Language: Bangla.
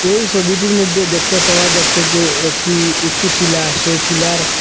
এই সবিটির মধ্যে দেখতে পাওয়া যাচ্ছে যে একটি উঁচুটিলা সেই টিলার--